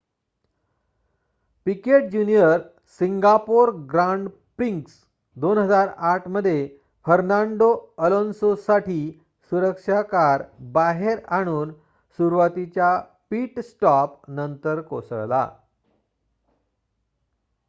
Picket junior Singapore grand prix 2008 मध्ये Fernando Alonso साठी सुरक्षा कार बाहेर आणून सुरवातीच्या पिट स्टॉप नंतर कोसळला